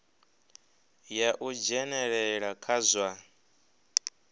ya u dzhenelela kha zwa